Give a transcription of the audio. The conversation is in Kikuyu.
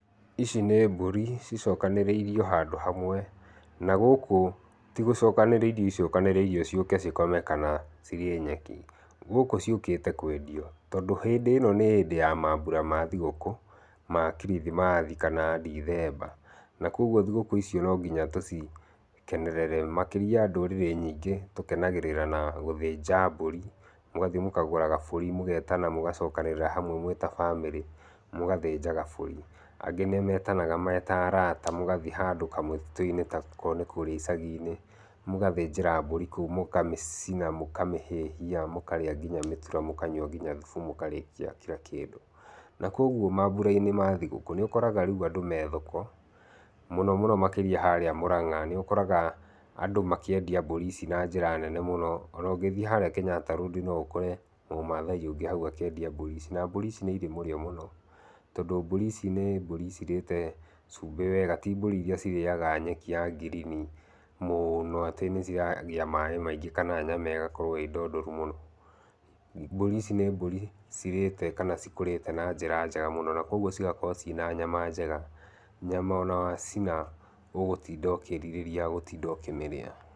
Ici nĩ mbũri cicokanĩrĩirio handũ hamwe, na gũkũ ti gũcokanĩrĩrio icokanĩrĩirio ciũke cikome kana cirĩe nyeki, gũkũ ciũkĩte kwendio. Tondũ hĩndĩ ĩno nĩ hĩndĩ ya mambura ma thikũ, ma kirithimathi kana ndithemba, na koguo thigũkũ ici no nginya tũcikenerere makĩria ndũrĩrĩ nyingĩ tũkenagĩrĩra na gũthĩnja mbũri, mũgathiĩ mũkagũra mbũri mũgetana mũgacokanĩrĩra hamwe mwĩta bamĩrĩ mũgathĩnja gabũri. Angĩ nĩ metanaga meta arata mũgathi handũ kamũtitũ-inĩ kũrĩa icagi-inĩ mũgathĩnjĩra mbũri kũu mũkamĩcina, mũkamĩhĩhia mũkarĩa nginya mĩtũra mũkanyua thubu mũkarĩa kira kĩndũ. Na koguo mambura-inĩ ma thigũkũ nĩ ũkoraga rĩu andũ me thoko mũno mũno harĩa mũrang'a nĩ ũkoraga andũ makĩendia mbũri ici na njĩra nene mũno. Ona ũngĩthiĩ harĩa Kĩnyatta road no ũkore mũmathai ũngĩ hau akĩendia mbũri ici. Na mbũri ici nĩ irĩ mũrĩo mũno. Tondũ mbũri ici nĩ mbũri cirĩte cumbĩ wega ti mbũri iria cirĩaga nyeki ya green mũno atĩ nĩ ciragĩa maaĩ maingĩ kana nyama ĩgakorwo ĩ ndondoru mũno. Mbũri ici nĩ mbũri cirĩte kana cikũrĩte na njĩra njega mũno na koguo cigakorwo cina nyama njega, nyama ona wacina ũgũtinda ũkĩrirĩria gũtinda ũkĩmĩrĩa.